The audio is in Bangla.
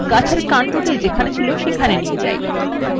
চলুন গাছের কান্ডটি যেখানে ছিল সেখানেই নিয়ে যাই